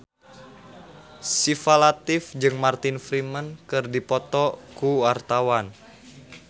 Syifa Latief jeung Martin Freeman keur dipoto ku wartawan